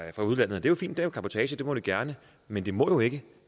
udlandet det er fint det er cabotage det må de gerne men de må ikke